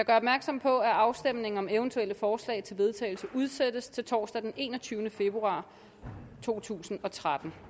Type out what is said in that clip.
opmærksom på at afstemning om eventuelle forslag til vedtagelse udsættes til torsdag den enogtyvende februar to tusind og tretten